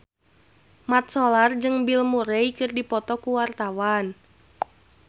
Mat Solar jeung Bill Murray keur dipoto ku wartawan